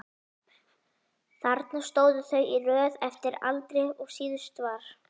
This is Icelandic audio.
Þarna stóðu þau í röð eftir aldri og síðastur var